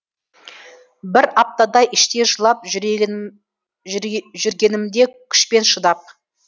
бір аптадай іштей жылап жүргенімде күшпен шыдап